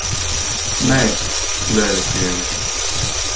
Nei, leiðrétti ég mig.